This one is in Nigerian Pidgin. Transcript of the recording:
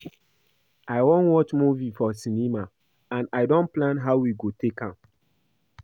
I wan go watch movie for cinema and I don plan how we go take am